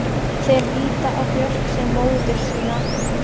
Þeir líta á Björk sem móður sína.